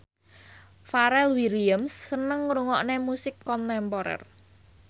Pharrell Williams seneng ngrungokne musik kontemporer